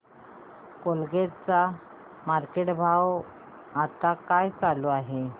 Colgate चा market भाव आता काय चालू आहे